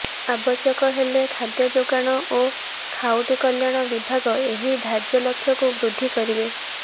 ଆବଶ୍ୟକ ହେଲେ ଖାଦ୍ୟ ଯୋଗାଣ ଓ ଖାଉଟିକଲ୍ୟାଣ ବିଭାଗ ଏହି ଧାର୍ଯ୍ୟଲକ୍ଷ୍ୟକୁ ବୃଦ୍ଧି କରିବେ